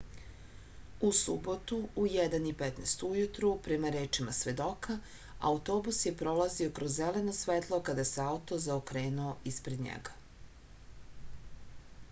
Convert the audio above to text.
u subotu u 1:15 ujutru prema rečima svedoka autobus je prolazio kroz zeleno svetlo kada se auto zaokrenuo ispred njega